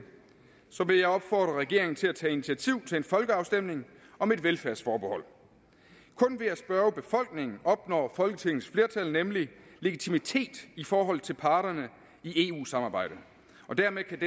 vil jeg opfordre regeringen til at tage initiativ til en folkeafstemning om et velfærdsforbehold kun ved at spørge befolkningen opnår folketingets flertal nemlig legitimitet i forhold til parterne i eu samarbejdet og dermed kan